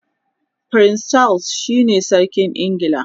prince Charles shine sarkin ingila